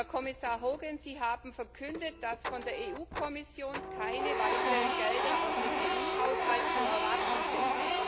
Herr Kommissar Hogan, Sie haben verkündet, dass von der EU Kommission keine weiteren Gelder aus dem EU Haushalt zu erwarten sind.